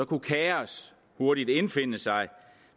kunne kaos hurtigt indfinde sig